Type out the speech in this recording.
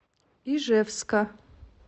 ижевска